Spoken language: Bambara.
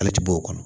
Ale ti bɔ o kɔnɔ